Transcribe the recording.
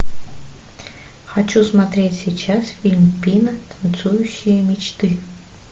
хочу смотреть сейчас фильм пина танцующие мечты